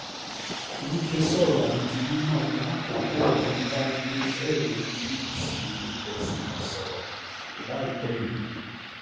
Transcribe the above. wike sọ̀rọ̀ ọ̀hún di mímọ̀ lákòókò tó ń bá iléeṣẹ́ ìròyìn bbc èdè gẹ̀ẹ́sì kan sọ̀rọ̀ láìpẹ́ yìí